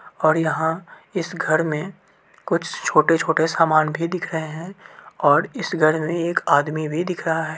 और यहाँ इस घर में कुछ छोटे - छोटे सामान भी दिख रहें हैं और इस घर मे एक आदमी भी दिख रहा है।